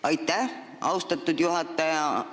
Aitäh, austatud juhataja!